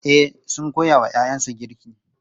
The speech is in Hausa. E, sun koya wa ‘ya’yansu girki.